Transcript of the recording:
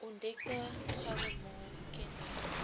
ontdekte gouemol kenmerk